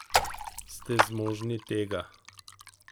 Ste zmožni tega?